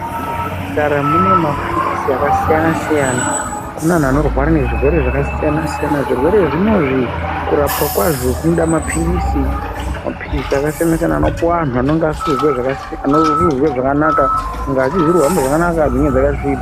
Muzvipatara mune maphiritsi akasiyana-siyana kune antu anorwara nezvirwere zvakasiyana-siyana. Zvirwere zvinozvi kurapwa kwazvo, kunoda maphiritsi, maphiritsi akasiyana-siyana. anopihwe vantu vanonga vasikuzwa zvakanaka, ngazi dzisiri kuhamba zvakanaka nedzinenge dzakasvipa.